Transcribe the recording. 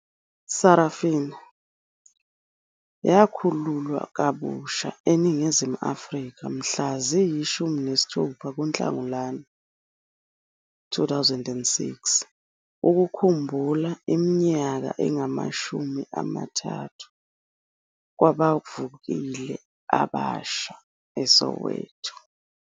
Sarafina! yakhululwa kabusha eNingizimu Afrika mhla ziyi-16 kuNhlangulana 2006 ukukhumbula iminyaka engama-30 kwabavukeli abasha eSoweto.